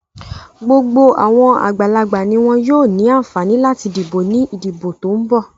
Gbogbo àwọn àgbàlagbà ni wọn yóò ní àǹfààní láti dìbò ní ìdìbò tó ń bọ́ ọ̀.